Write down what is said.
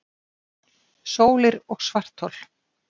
Sólir og svarthol